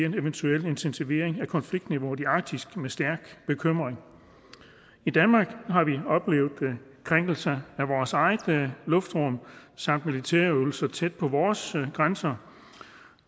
en eventuel intensivering af konfliktniveauet i arktis med stærk bekymring i danmark har vi oplevet krænkelser af vores eget luftrum samt militære øvelser tæt på vores grænser